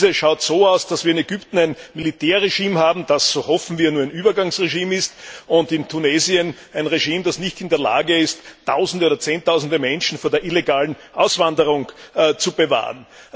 Diese schaut so aus, dass wir in Ägypten ein Militärregime haben, das so hoffen wir nur ein Übergangsregime ist, und in Tunesien ein Regime, das nicht in der Lage ist, tausende oder zehntausende Menschen vor der illegalen Auswanderung zu bewahren.